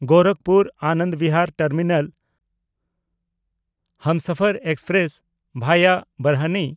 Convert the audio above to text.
Gorakhpur-Anand Bihar terminal Humsafar express (ᱵᱷᱟᱭᱟ ᱵᱟᱨᱦᱱᱤ)